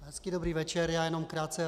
Hezký dobrý večer, já jenom krátce.